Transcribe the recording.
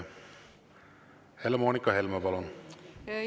Helle-Moonika Helme, palun!